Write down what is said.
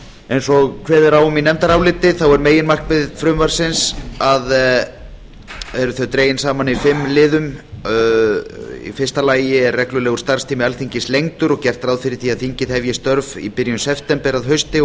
eins og kveðið er á um í nefndaráliti þá eru meginmarkmið frumvarpsins dregin saman í fimm liðum í fyrsta lagi er reglulegur starfstími alþingis lengdur og er gert ráð fyrir því að þingið hefji störf í byrjun september að hausti og